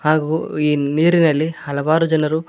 ಹಾಗೂ ಈ ನೀರಿನಲ್ಲಿ ಹಲವಾರು ಜನರು.